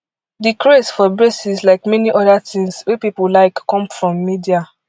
di craze for braces like many oda tins wey pipo like come from media